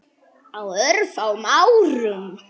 Á örfáum árum.